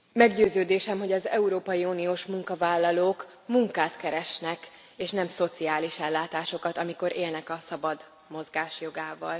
Meggyőződésem, hogy az európai uniós munkavállalók munkát keresnek, és nem szociális ellátásokat, amikor élnek a szabad mozgás jogával.